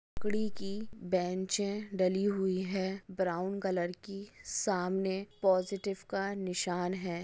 लकड़ी की बेंचे डली हुई है ब्राउन कलर की सामने पॉजिटिव का निशान है।